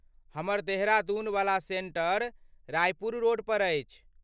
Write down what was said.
हमर देहरादूनवला centre, Raipur road पर अछि।